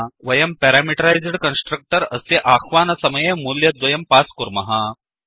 वयं parameterised constructor अस्य अह्वानसमये मूल्यद्वयं पास् कुर्मः